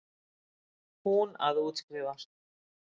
Hún að útskrifast.